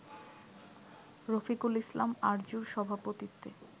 রফিকুল ইসলাম আরজুর সভাপতিত্বে